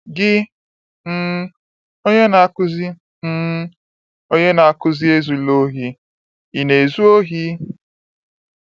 Gị, um onye na-akụzi um onye na-akụzi “Ezula ohi, ” ị na-ezu ohi?